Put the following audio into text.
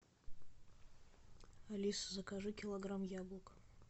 алиса закажи килограмм яблок